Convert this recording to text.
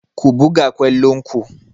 Ku buga kwallon ku!